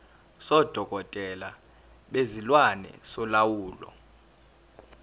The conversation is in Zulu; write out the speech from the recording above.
sodokotela bezilwane solawulo